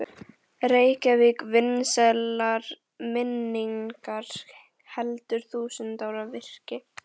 Reykjavík vansællar minningar, heldur þúsund ára virki.